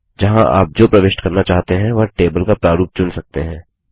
जहाँ आप जो प्रविष्ट करना चाहते हैं वह टेबल का प्रारूप चुन सकते हैं